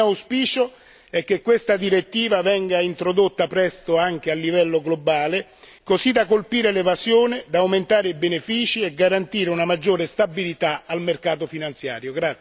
Il mio auspicio è che questa direttiva venga introdotta presto anche a livello globale, così da colpire l'evasione e aumentare i benefici e garantire una maggiore stabilità al mercato finanziario.